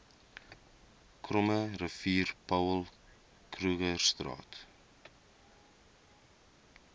krommerivier paul krugerstraat